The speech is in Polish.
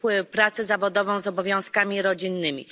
pracę zawodową z obowiązkami rodzinnymi.